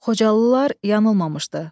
Xocalılar yanılmamışdı.